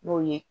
N'o ye